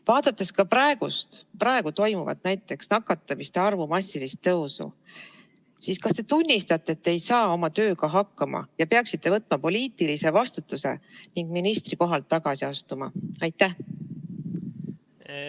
Vaadates praegust nakatunute arvu massilist kasvu, kas te tunnistate, et te ei saa oma tööga hakkama ja peaksite võtma poliitilise vastutuse ning ministrikohalt tagasi astuma?